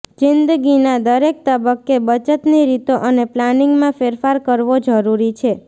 જિંદગીના દરેક તબક્કે બચતની રીતો અને પ્લાનિંગમાં ફેરફાર કરવો જરૂરી છે